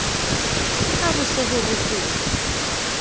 ke haho se ho ropoha